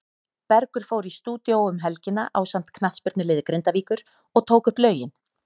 Bergur fór í stúdíó um helgina ásamt knattspyrnuliði Grindavíkur og tók upp lögin.